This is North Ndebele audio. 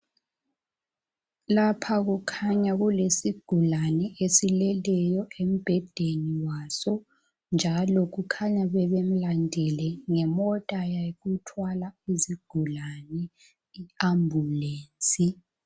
Lapha kukhanya kulesigulani esileleyo embhedeni waso .njalo kukhanya bebemulandile ngemota yokuthwala izigulane iAmbulensi.